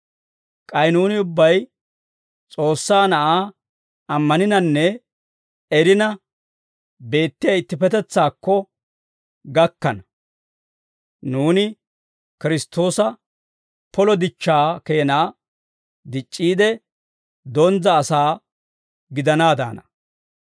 K'ay nuuni ubbay S'oossaa Na'aa ammaninanne erina beettiyaa ittippetetsaakko gakkana; nuuni Kiristtoosa polo dichchaa keenaa dic'c'iide, donzza asaa gidanaadaana.